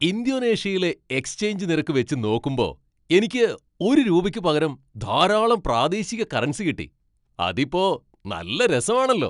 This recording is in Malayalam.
ഇന്തോനേഷ്യയിലെ എക്സ്ചെയ്ഞ്ച് നിരക്ക് വെച്ച് നോക്കുമ്പോ എനിക്ക് ഒരു രൂപയ്ക്ക് പകരം ധാരാളം പ്രാദേശിക കറൻസി കിട്ടി, അതിപ്പോ നല്ല രാസമാണല്ലോ.